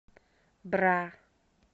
бра